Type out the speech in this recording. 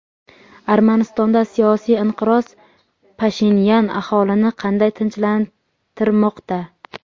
Armanistonda siyosiy inqiroz: Pashinyan aholini qanday tinchlantirmoqda?.